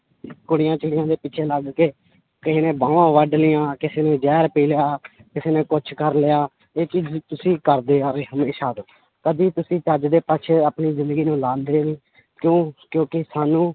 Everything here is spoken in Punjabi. ਕੁੜੀਆਂ ਚਿੜੀਆਂ ਦੇ ਪਿੱਛੇ ਲੱਗ ਕੇ ਕਿਸੇ ਨੇ ਬਾਹਾਂ ਵੱਢ ਲਈਆਂ ਕਿਸੇ ਨੇ ਜ਼ਹਿਰ ਪੀ ਲਿਆ ਕਿਸੇ ਨੇ ਕੁਛ ਕਰ ਲਿਆ, ਇਹ ਤੁਸੀਂ ਕਰਦੇ ਆ ਰਹੇ ਹਮੇਸ਼ਾ ਤੋਂ ਕਦੇ ਤੁਸੀਂ ਚੱਜ ਦੇ ਪਾਸੇ ਆਪਣੀ ਜ਼ਿੰਦਗੀ ਨੂੰ ਲਾਉਂਦੇ ਨੀ, ਕਿਉਂ ਕਿਉਂਕਿ ਸਾਨੂੰ